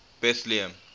betlehem